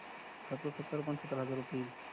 खर्च सत्तर पंचातप हजार रुपए येईल